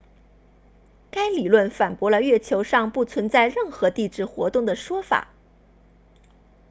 该理论反驳了月球上不存在任何地质活动的说法